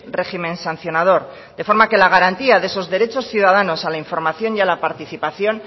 régimen sancionador de forma que la garantía de esos derechos ciudadanos a la información y a la participación